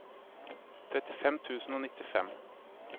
trettifem tusen og nittifem